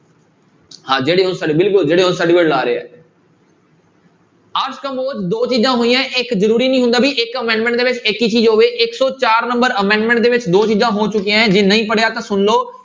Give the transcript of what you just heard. ਹਾਂ ਜਿਹੜੀ ਲਾ ਰਹੇ ਹੈ ਅਰਸ ਕੰਬੋਜ ਦੋ ਚੀਜ਼ਾਂ ਹੋਈਆਂ ਹੈ ਇੱਕ ਜ਼ਰੂਰੀ ਨੀ ਹੁੰਦਾ ਵੀ ਇੱਕ amendment ਦੇ ਵਿੱਚ ਇੱਕ ਹੀ ਚੀਜ਼ ਹੋਵੇ ਇੱਕ ਸੌ ਚਾਰ number amendment ਦੇ ਵਿੱਚ ਦੋ ਚੀਜ਼ਾਂ ਹੋ ਚੁੱਕੀਆਂ ਹੈ ਜੇ ਨਹੀਂ ਪੜ੍ਹਿਆ ਤਾਂ ਸੁਣ ਲਓ।